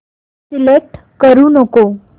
select करू नको